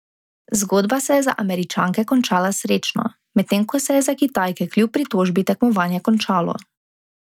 Zgodba se je za Američanke končala srečno, medtem ko se je za Kitajke kljub pritožbi tekmovanje končalo.